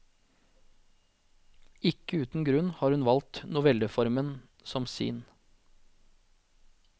Ikke uten grunn har hun valgt novelleformen som sin.